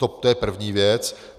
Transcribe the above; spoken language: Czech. To je první věc.